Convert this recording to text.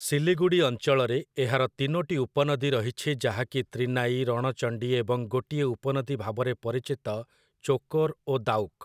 ଶିଲିଗୁଡ଼ି ଅଞ୍ଚଳରେ, ଏହାର ତିନୋଟି ଉପନଦୀ ରହିଛି ଯାହାକି ତ୍ରିନାଇ, ରଣଚଣ୍ଡୀ, ଏବଂ ଗୋଟିଏ ଉପନଦୀ ଭାବରେ ପରିଚିତ ଚୋକୋର୍ ଓ ଦାଉକ୍ ।